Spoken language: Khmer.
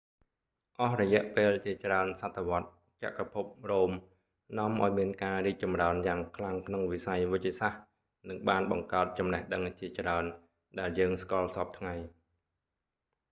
អស់រយៈពេលជាច្រើនសតវត្សរ៍ចក្រភពរ៉ូមនាំឱ្យមានការរីកចម្រើនយ៉ាងខ្លាំងក្នុងវិស័យវេជ្ជសាស្ត្រ និងបានបង្កើតចំណេះដឹងជាច្រើន ដែលយើងស្គាល់សព្វថ្ងៃ